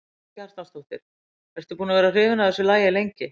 Karen Kjartansdóttir: Ertu búin að vera hrifin af þessu lagi lengi?